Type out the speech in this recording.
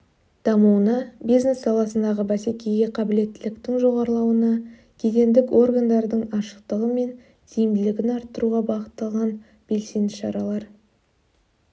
дамуына бизнес саласындағы бәсекеге қабылеттіліктің жоғарлауына кедендік органдардың ашықтығы мен тиімділігін арттыруға бағытталған белсенді шаралар